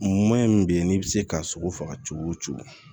min bɛ yen n'i bɛ se ka sogo faga cogo o cogo